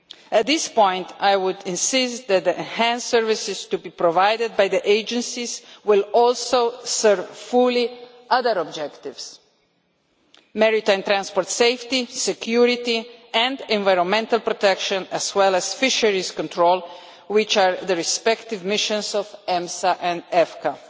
At this point I would emphasise that the enhanced services to be provided by the agencies will also serve fully other objectives maritime transport safety, security and environmental protection, as well as fisheries control, which are the respective missions of EMSA and EFCA.